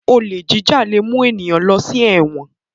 Olè jíjà lẹ mú ní ló sí èwòn